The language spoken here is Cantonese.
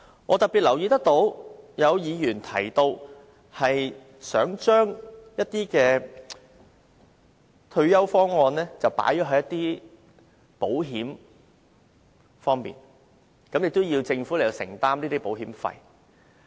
我特別留意到曾有議員提到，想將一些退休方案納入保險計劃內，並要求政府承擔保險費。